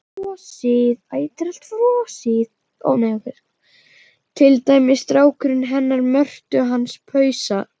Til dæmis strákurinn hennar Mörtu hans Pusa.